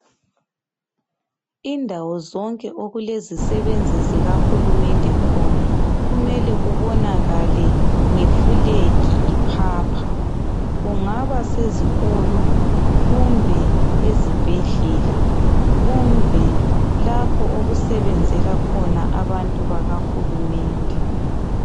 Indawo zonke okulezisebenzi zika Hulumende khona kumele kubonakala ngefulegi iphapha kungabasezikolo kumbe ezibhedlela kumbe lapho okusebenzela khona abantu baka Hulumende